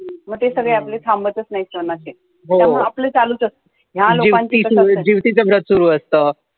म ते सगळे आपले थांबतच नाही सण अशे, त्यामुळं आपलं चालूच असत